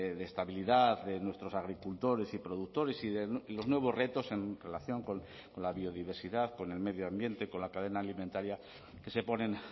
de estabilidad de nuestros agricultores y productores y los nuevos retos en relación con la biodiversidad con el medio ambiente con la cadena alimentaria que se ponen